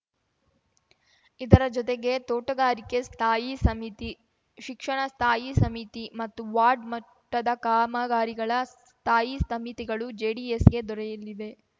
ಇದರ ಜೊತೆಗೆ ತೋಟಗಾರಿಕೆ ಸ್ಥಾಯಿ ಸಮಿತಿ ಶಿಕ್ಷಣ ಸ್ಥಾಯಿ ಸಮಿತಿ ಮತ್ತು ವಾರ್ಡ್‌ ಮಟ್ಟದ ಕಾಮಗಾರಿಗಳ ಸ್ಥಾಯಿ ಸಮಿತಿಗಳು ಜೆಡಿಎಸ್‌ಗೆ ದೊರೆಯಲಿವೆ